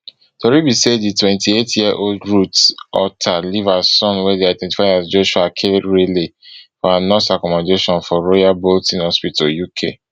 tori be say di twenty-eightyearold ruth auta leave her son wey dey identified as joshua akerele for her nurse accommodation for royal bolton hospital uk